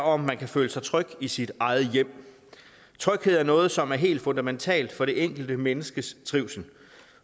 om man kan føle sig tryg i sit eget hjem tryghed er noget som er helt fundamentalt for det enkelte menneskes trivsel